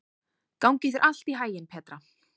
Gangi þér allt í haginn, Petra.